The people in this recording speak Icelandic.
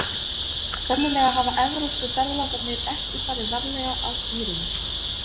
sennilega hafa evrópsku ferðalangarnir ekki farið varlega að dýrunum